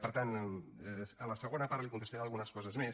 per tant a la segona part li contestaré algunes coses més